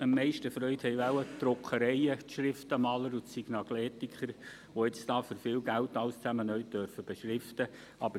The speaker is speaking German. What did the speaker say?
am meisten Freude haben wohl die Druckereien, die Schriftenmaler und die Signaletiker, die jetzt für viel Geld alles neu beschriften dürfen.